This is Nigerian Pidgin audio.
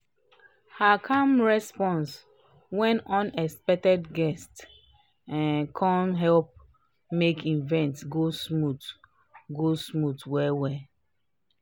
her calm response wen unexpected guest um come help make event go smooth go smooth well well